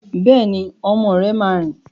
Bẹ́ẹ̀ni, ọmọ rẹ máa rìn.